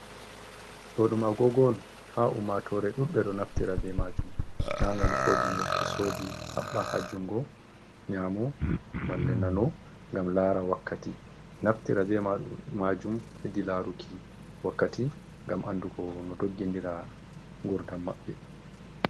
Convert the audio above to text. Ɗo ɗum agogo on. Ha ummatore ɗudɓe ɗo naftira be majum na ngam ko ɗume to sodi haɓɓa ha jungo nyamo malle nano ngam lara wakkati. Naftira be majum hedi laruki wakkati ngam andugo no doggindira gurdam maɓɓe.